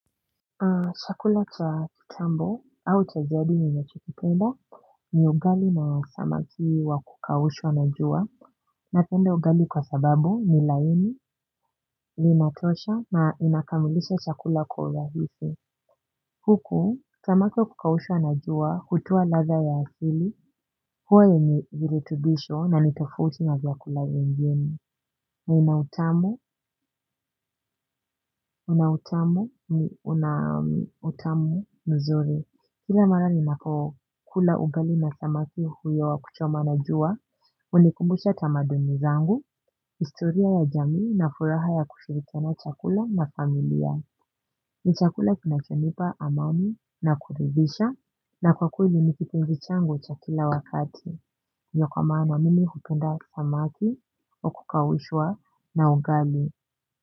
Chakula cha kutambo au cha jadi ninachokipenda ni ugali na samaki wa kukaushwa na jua. Napende ugali kwa sababu ni laini, linatosha na inakamilisha chakula kwa urahisi. Huku, samaki wa kukaushwa na jua, hutoa latha ya asili, huwa yenye viritubisho na nitofauti na vyakula vingine. Na inautamu, unautamu, unautamu mzuri. Kila mara ninako kula ugali na samaki huyo wa kuchoma na jua. Unikumbusha tamaduni zangu, istoria ya jamii na furaha ya kushirikiana chakula na familia. Ni chakula kinachonipa amani na kuridhisha. Na kwa kweli nikitpnzi changu cha kila wakati. Ndio kwa maana mimi hupenda samaki wa kukaushwa na ugali.